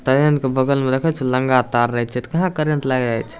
Train के बगल मे देखे छो नंगा तार रहे छै कहा करंट लगे छै।